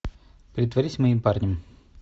притворись моим парнем